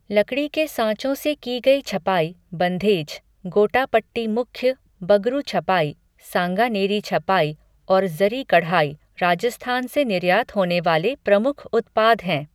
लकड़ी के साँचों से की गई छपाई, बन्धेज, गोटापट्टी मुख्य, बगरू छपाई , सांगानेरी छपाई और ज़री कढ़ाई राजस्थान से निर्यात होने वाले प्रमुख उत्पाद हैं।